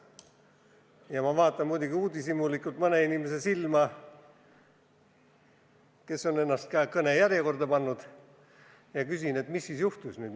Ja ma vaatan muidugi uudishimulikult silma mõnele inimesele, kes on ennast ka kõne järjekorda pannud, ja küsin: mis siis ikkagi juhtus?